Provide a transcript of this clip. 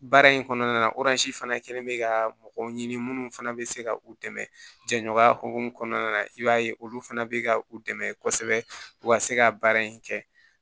Baara in kɔnɔna fana kɛlen bɛ ka mɔgɔ ɲini minnu fana bɛ se ka u dɛmɛ jɛɲɔgɔnya hokumu kɔnɔna na i b'a ye olu fana bɛ ka u dɛmɛ kosɛbɛ u ka se ka baara in kɛ